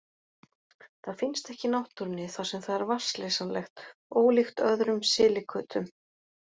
Það finnst ekki í náttúrunni þar sem það er vatnsleysanlegt, ólíkt öðrum silikötum.